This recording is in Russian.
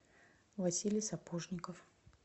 василий сапожников